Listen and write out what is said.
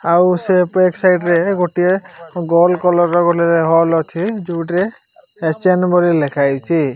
ଆଉ ସେ back side ରେ ଗୋଟିଏ ଗୋଲ୍ କଲର୍ ର ବୋଲି ହୋଲ୍ ଅଛି ଯୋଉଟିରେ ଏଚ୍_ଏନ ବୋଲି ଲେଖାହେଇଚି।